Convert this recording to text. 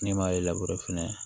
Ne m'ale fɛnɛ